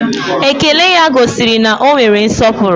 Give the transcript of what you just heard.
Ékélé ya gosiri na ọ nwere nsọpụrụ